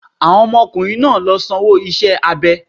Àwọn ọmọ ọkùnrin náà ló sanwó iṣẹ́ abẹ ẹ̀.